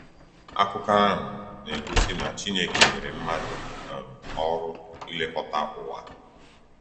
Akụkọ ahụ na-egosi na Chineke nyere mmadụ um ọrụ ilekọta ụwa.